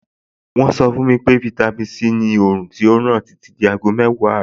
Wọ́n sọ fún mi pé fáítámì Sí ni òòrùn tó ràn títí di aago mẹ́wàá àárọ̀.